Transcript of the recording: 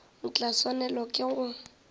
o tla swanela ke go